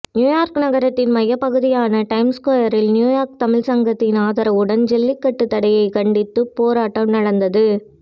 New York நகரத்தின் மையப்பகுதியான Times ஸ்கொயரில் நியூ யார்க் தமிழ்ச் சங்கத்தின் ஆதரவுடன் ஜல்லிக்கட்டு தடையைக் கண்டித்து போராட்டம் நடந்தது